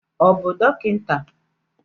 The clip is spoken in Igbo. Ọ bụ dọkịta?